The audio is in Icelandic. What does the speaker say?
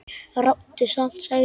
Ráddu samt, sagði Björn.